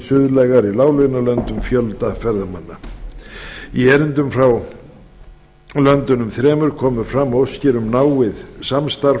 suðlægari láglaunalönd um fjölda ferðamanna í erindum frá löndunum þremur komu fram óskir um náið samstarf